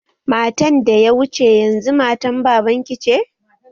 Matan da ya wuce yanzu matan baban ki ce?